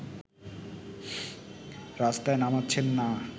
রাস্তায় নামাচ্ছেন না